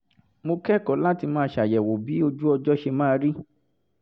mo kẹ́kọ̀ọ́ láti máa ṣàyẹ̀wò bí ojú ọjọ́ ṣe máa rí